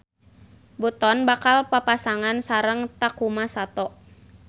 Button bakal papasangan sareng Takuma Sato.